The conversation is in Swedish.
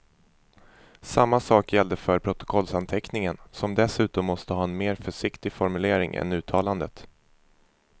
Samma sak gäller för protokollsanteckningen, som dessutom måste ha en mer försiktig formulering än uttalandet.